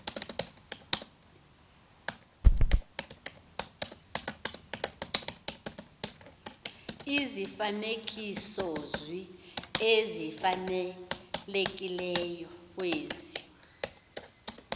izifanekisozwi ezifanelekileyo kwezi